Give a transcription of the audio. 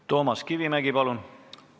Toomas Kivimägi, palun!